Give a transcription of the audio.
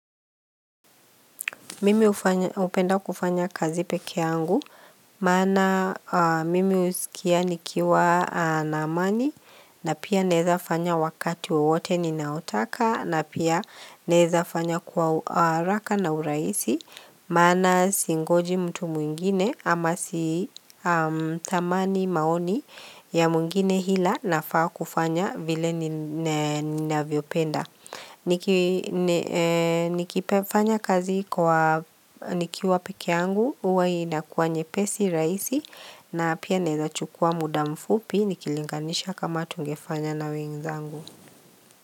Mimi hupenda kufanya kazi pekee yangu, maana mimi husikia nikiwa na amani, na pia naeza fanya wakati wowote ninaotaka, na pia naeza fanya kwa haraka na urahisi, maana singoji mtu mwingine ama sitamani maoni ya mwingine ila nafaa kufanya vile ninavyopenda. Nikifanya kazi kwa nikiwa pekee yangu huwa inakuwa nye pesi rahisi na pia naeza chukua muda mfupi Nikilinganisha kama tungefanya na wenzangu.